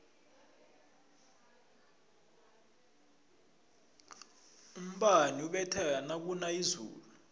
umbani ubetha nakuna izulu